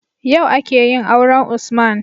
Yau akeyin auren usman